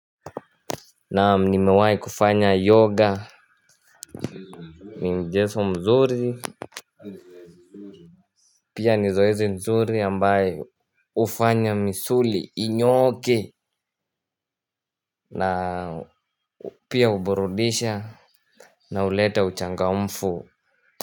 Naam nimewai kufanya yoga. Ni mchezo mzuri. Pia ni zoezi nzuri ambayo hufanya misuli inyooke. Na pia huburudisha. Na huleta uchangamfu.